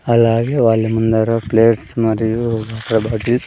అలాగే వాళ్ళ ముందర ప్లేట్స్ మరియు వాటర్ బాటీస్ .